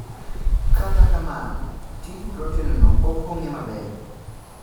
Kata kamano, tij proten no pok ong'e maber